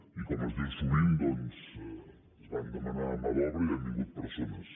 i com es diu sovint doncs es va demanar mà d’obra i han vingut persones